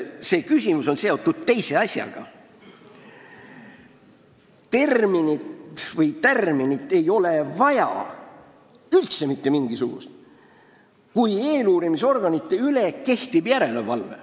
See küsimus on seotud ühe teise asjaga – mitte mingisugust tärminit ei ole üldse vaja, kui eeluurimisorganite üle kehtib järelevalve.